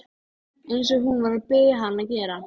Eins og hún var að biðja hann að gera.